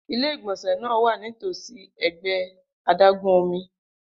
Ile-igbọnsẹ naa wa nitosi si ẹgbẹ adágún omi.